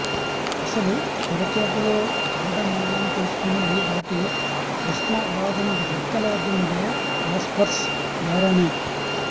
అసలు సొరచేపల్లో ఆడ మగ అని తెలుసుకునేది వాటి పృష్ట భాగం రెక్కల వద్ద ఉండే క్లాస్పర్స్ ద్వారానే